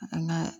A kana